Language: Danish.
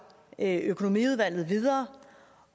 økonomiudvalget så videre